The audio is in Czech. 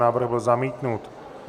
Návrh byl zamítnut.